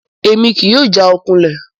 Emi kii yóò jaokulẹ